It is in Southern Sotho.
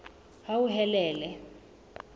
hauhelele